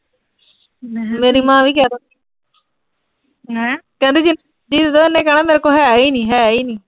ਮੇਰੀ ਮਾਂ ਵੀ ਕਹਿ ਦਿੰਦੀ ਕਹਿੰਦੀ ਜਿੰਨਾ ਮਰਜ਼ੀ ਲੈਦੇ, ਇਹਨੇ ਕਹਿਣਾ ਮੇਰੇ ਕੋਲ ਹੈ ਈ ਨੀਂ, ਹੈ ਈ ਨੀਂ।